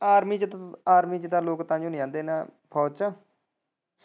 army ਚ army ਤਾਂ ਲੋਕੀ ਤਾਂਹੀ ਨੀ ਆਂਦੇ ਫੋਜ ਚ।